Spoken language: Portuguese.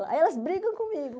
Aí elas brigam comigo.